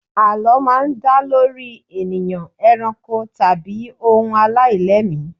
Àlọ́ máa ń dá lórí ènìyàn, eranko, tàbí ohun aláìlẹ́mìí.